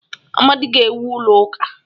Amadi ga-ewu ụlọ ụka.